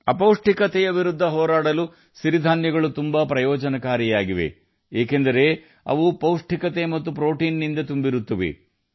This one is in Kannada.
ಅಪೌಷ್ಟಿಕತೆಯ ವಿರುದ್ಧ ಹೋರಾಡಲು ಸಿರಿಧಾನ್ಯಗಳು ತುಂಬಾ ಪ್ರಯೋಜನಕಾರಿಯಾಗಿದೆ ಏಕೆಂದರೆ ಅವುಗಳು ಶಕ್ತಿ ಮತ್ತು ಪ್ರೋಟೀನ್ ನಿಂದ ತುಂಬಿರುತ್ತವೆ